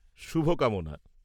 -শুভকামনা।